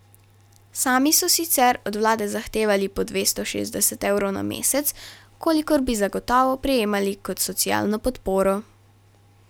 Sami so sicer od vlade zahtevali po dvesto šestdeset evrov na mesec, kolikor bi zagotovo prejemali kot socialno podporo.